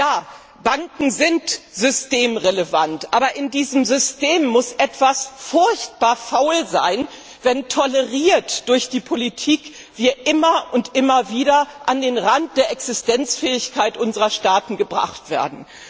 Ja, Banken sind systemrelevant, aber in diesem System muss etwas furchtbar faul sein, wenn wir toleriert durch die Politik immer und immer wieder an den Rand der Existenzfähigkeit unserer Staaten gebracht werden.